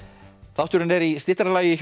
þátturinn er í styttra lagi